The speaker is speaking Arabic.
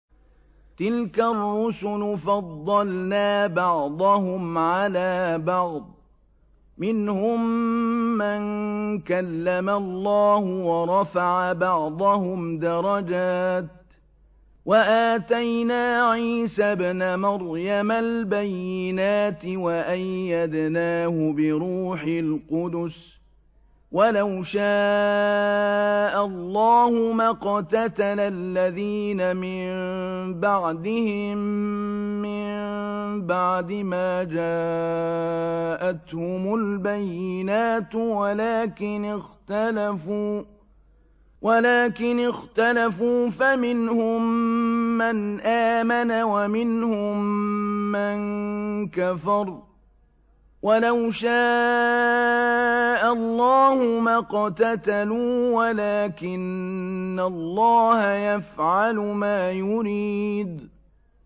۞ تِلْكَ الرُّسُلُ فَضَّلْنَا بَعْضَهُمْ عَلَىٰ بَعْضٍ ۘ مِّنْهُم مَّن كَلَّمَ اللَّهُ ۖ وَرَفَعَ بَعْضَهُمْ دَرَجَاتٍ ۚ وَآتَيْنَا عِيسَى ابْنَ مَرْيَمَ الْبَيِّنَاتِ وَأَيَّدْنَاهُ بِرُوحِ الْقُدُسِ ۗ وَلَوْ شَاءَ اللَّهُ مَا اقْتَتَلَ الَّذِينَ مِن بَعْدِهِم مِّن بَعْدِ مَا جَاءَتْهُمُ الْبَيِّنَاتُ وَلَٰكِنِ اخْتَلَفُوا فَمِنْهُم مَّنْ آمَنَ وَمِنْهُم مَّن كَفَرَ ۚ وَلَوْ شَاءَ اللَّهُ مَا اقْتَتَلُوا وَلَٰكِنَّ اللَّهَ يَفْعَلُ مَا يُرِيدُ